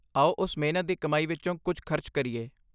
ਆਓ ਉਸ ਮਿਹਨਤ ਦੀ ਕਮਾਈ ਵਿੱਚੋਂ ਕੁਝ ਖਰਚ ਕਰੀਏ।